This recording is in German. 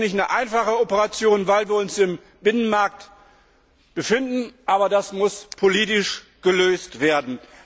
Das ist keine einfache Operation, weil wir uns im Binnenmarkt befinden, aber das muss politisch gelöst werden.